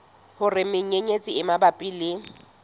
hore menyenyetsi e mabapi le